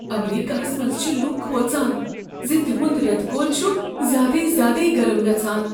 امریکاہس منٛز چھ لوٗکھ کھوژان ز تِہنٛد ریتہٕ کول چھ زیادے زیادٕے گرم گژھان۔